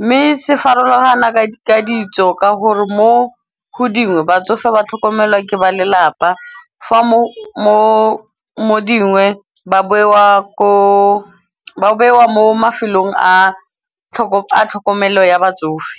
Mme se farologana ka ka ditso ka gore mo go dingwe batsofe ba tlhokomelwa ke ba lelapa. Fa mo dingwe ba bewa mo mafelong a tlhokomelo ya batsofe.